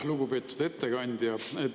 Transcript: Lugupeetud ettekandja!